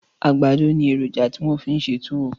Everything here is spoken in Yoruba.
Àgbàdọ ni èròjà ti wọ́n fi ń ṣe túwó